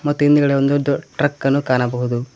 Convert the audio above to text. ಮತ್ತು ಹಿಂದುಗಡೆ ಒಂದು ಟ್ರಕ್ಕ ನ್ನು ಕಾಣಬಹುದು.